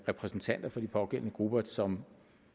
repræsentanter for de pågældende grupper som